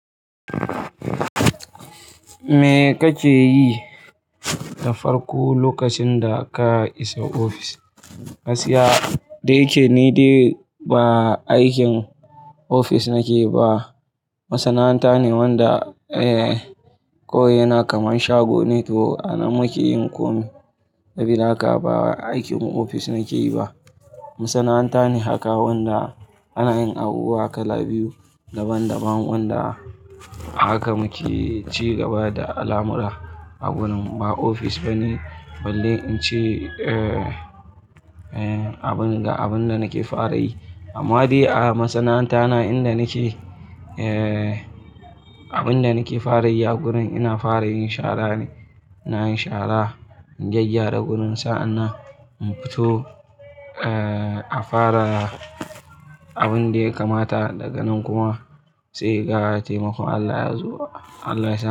Me kake yi na farko lokacin da ka isa ofis? Gaskiya, da yake ni dai ba aikin ofis nake ba. Masana'anta ne wanda, kawai yana kaman shago ne toh anan muke yin komai. Sabida haka ba aikin ofis nake yi ba. Masana'anta ne haka wanda ana yin abubuwa kala biyu daban daban wanda haka muke ci gaba da al'amura a gurin. Ba ofis bane, balle in ce, abin da, abin da nake fara yi. Amma dai a masana'anta na inda nake, abin da nake fara yi a gurin ina fara yin shara ne. Ina yin shara, in gyaggyara gurin, sa'an nan in fito, a fara abin da ya kamata. Daga nan kuma sai ga taimakon Allah ya zo. Allah ya sau-